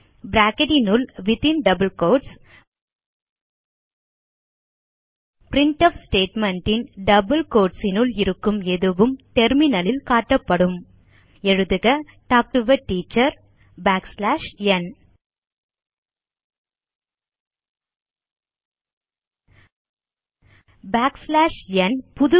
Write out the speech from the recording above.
bracketகளினுள் within double quotes printf statement ன் double quoteகளினுள் இருக்கும் எதுவும் டெர்மினல் ல் காட்டப்படும் எழுதுக talk to a teacher backslash n backslash n n